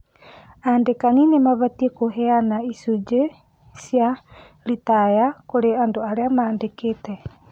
Andĩkani nĩ mabatiĩ kũheana icũnjĩ cia retire kũrĩ andũ arĩa mandĩkĩte